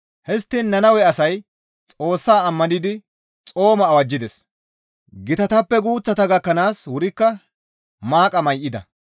Histtiin Nannawe asay Xoossaa ammanidi xooma awajjides; gitatappe guuththata gakkanaas wurikka maaqa may7ida.